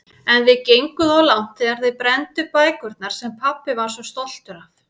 En þið genguð of langt þegar þið brennduð bækurnar sem pabbi var svo stoltur af.